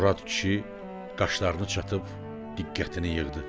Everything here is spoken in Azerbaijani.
Murad kişi qaşlarını çatıb diqqətini yığdı.